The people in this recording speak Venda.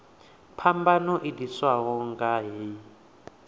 phambano i ḓiswaho nga hei